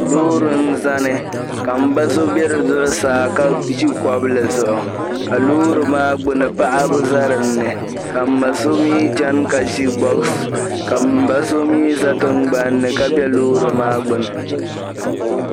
Loori n-zani ka m-ba so be zuɣusaa ka ʒi kobli zuɣu ka loori maa gbuni paɣaba za dinni ka m-ma so mi chani ka ʒi bɔks ka m-ba so mi za tingbani ni ka be loori maa gbuni.